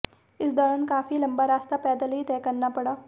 इस दौरान काफी लंबा रास्ता पैदल ही तय करना पड़ा